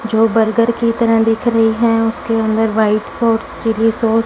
जो बर्गर की तरह दिख रही है उसके अंदर वाइट सॉस चिल्ली सास --